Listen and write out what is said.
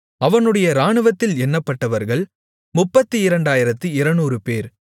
அவனுடைய இராணுவத்தில் எண்ணப்பட்டவர்கள் 32200 பேர்